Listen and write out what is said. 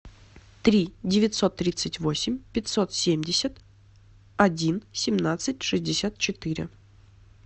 три девятьсот тридцать восемь пятьсот семьдесят один семнадцать шестьдесят четыре